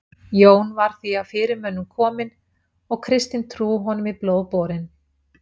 jón var því af fyrirmönnum kominn og kristin trú honum í blóð borin